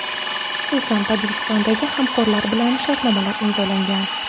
Xususan, Tojikistondagi hamkorlar bilan shartnomalar imzolangan.